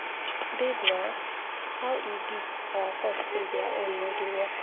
Babe naa, how e be our fault say their own no dey work.